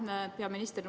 Hea minister!